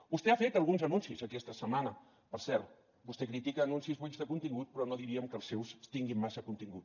vostè ha fet alguns anuncis aquesta setmana per cert vostè critica anuncis buits de contingut però no diríem que els seus tinguin massa contingut